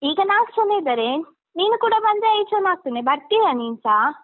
ಈಗ ನಾಲ್ಕು ಜನ ಇದ್ದಾರೆ ನೀನು ಕೂಡ ಬಂದ್ರೆ ಐದು ಜನ ಆಗ್ತದೆ ಬರ್ತೀಯ ನೀನ್ಸ?